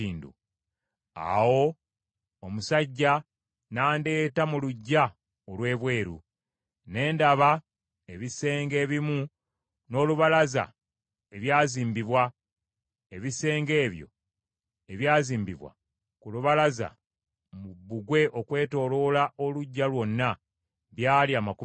Awo omusajja n’andeeta mu luggya olw’ebweru; ne ndaba ebisenge ebimu n’olubalaza ebyazimbibwa, ebisenge ebyo ebyazimbibwa ku lubalaza mu bbugwe okwetooloola oluggya lwonna, byali amakumi asatu.